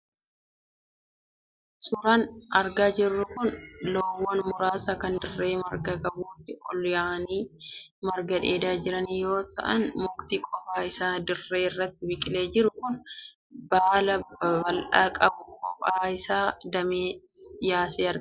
Suuraan argaa jirru kun loowwan muraasa kan dirree marga qabutti ol yaa'anii marga dheedaa jiran yoo ta'an, mukti qofaa isaa dirree irratti biqilee jiru, kan baala babal'aa qabu kophaa isaa damee yaasee argama.